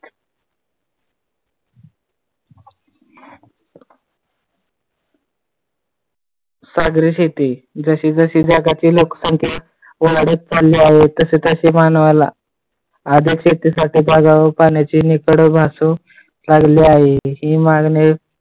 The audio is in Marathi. सागरी शेती, जशी जशी जगातील लोकसंख्या वाढत चालली आहे, तसे तसे मानवाला आदर्श ते साठी पाण्याची निकळ भासू लागली आहे. हि मागणी